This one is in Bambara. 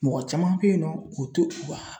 Mɔgɔ caman bɛ yen nɔ u tɛ u ka